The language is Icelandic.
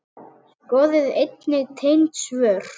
Skoðið einnig tengd svör